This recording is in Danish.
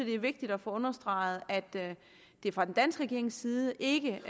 det er vigtigt at få understreget at vi fra den danske regerings side ikke